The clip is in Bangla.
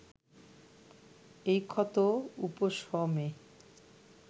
এই ক্ষত উপশমে